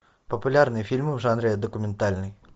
популярные фильмы в жанре документальный